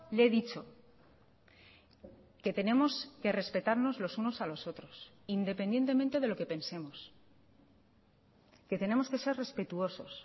le he dicho que tenemos que respetarnos los unos a los otros independientemente de lo que pensemos que tenemos que ser respetuosos